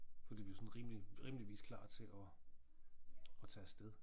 Fordi vi jo sådan rimelig timelig vis klar til og og tage afsted